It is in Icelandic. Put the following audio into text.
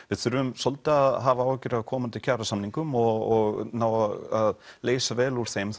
við þurfum svolítið að hafa áhyggjur af komandi kjarasamningum og ná að leysa vel úr þeim